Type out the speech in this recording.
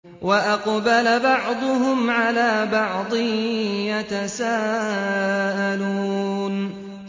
وَأَقْبَلَ بَعْضُهُمْ عَلَىٰ بَعْضٍ يَتَسَاءَلُونَ